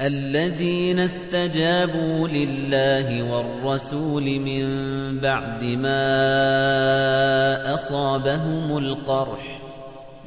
الَّذِينَ اسْتَجَابُوا لِلَّهِ وَالرَّسُولِ مِن بَعْدِ مَا أَصَابَهُمُ الْقَرْحُ ۚ